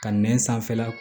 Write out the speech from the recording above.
Ka nɛn sanfɛla